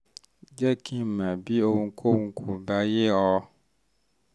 um jẹ́ kí n mọ̀ bí ohunkóhun kò bá yé ọ